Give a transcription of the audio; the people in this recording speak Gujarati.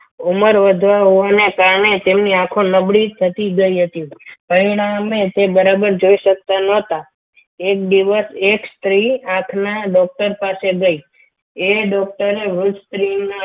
ઉંમર ઉંમર વધારાને કારણે તેમની આંખો નબળી થઈ રહી હતી પરિણામે તે બરાબર જોઈ શકતા ન હતા. એક દિવસ સ્ત્રી આંખના doctor પાસે ગઈ એ doctor એ રોજ સ્ત્રીના